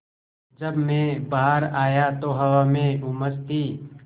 जब मैं बाहर आया तो हवा में उमस थी